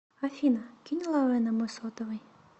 афина кинь лавэ на мой сотовый